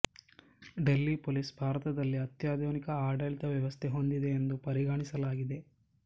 Delhi police ಭಾರತದಲ್ಲಿ ಅತ್ಯಾಧುನಿಕ ಆಡಳಿತ ವ್ಯವಸ್ಥೆ ಹೊಂದಿದೆ ಎಂದು ಪರಿಗಣಿಸಲಾಗಿದೆ